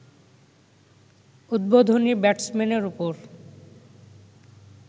উদ্বোধনী ব্যাটসম্যানের ওপর